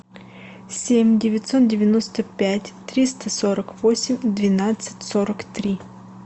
семь девятьсот девяносто пять триста сорок восемь двенадцать сорок три